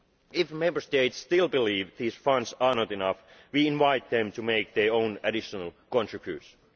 own. If Member States still believe these funds are not enough, we invite them to make their own additional contributions.